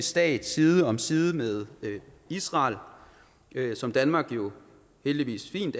stat side om side med israel som danmark jo heldigvis